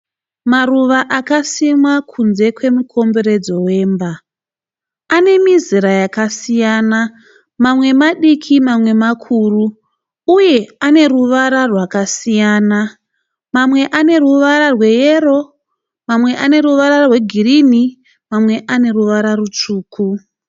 Maruva akasimwa kunze kwemukomberedzo wemba. Ane mizera yakasiyana, mamwe madiki mamwe makuru uye ane ruvara rwakasiyana. Mamwe ane ruvara rweyero, mamwe ane ruvara rwegirini, mamwe ane ruvara rutsvuku.